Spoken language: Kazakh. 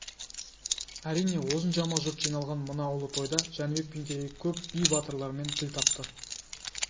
әрине осыншама жұрт жиналған мына ұлы тойда жәнібек пен керей көп би батырлармен тіл тапты